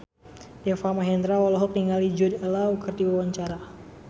Deva Mahendra olohok ningali Jude Law keur diwawancara